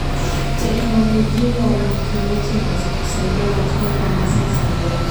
Teknolojia ya umwagiliaji inaweza kusaidia katika kuongeza uzalishaji.